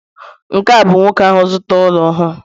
nke a ka nwoke ahụ zụtara ụlọ ọhụrụ